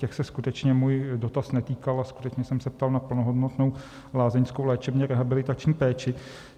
Těch se skutečně můj dotaz netýkal a skutečně jsem se ptal na plnohodnotnou lázeňskou léčebně-rehabilitační péči.